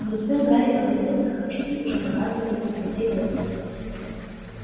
не успел гарри оглянуться как часы уже показывали без пяти восемь